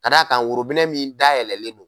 Ka da kan worobinɛ min dayɛlɛlen don.